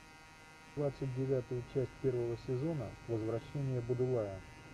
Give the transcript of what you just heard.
двадцать девятую часть первого сезона возвращение будулая